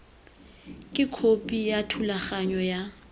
ke khopi ya thulaganyo ya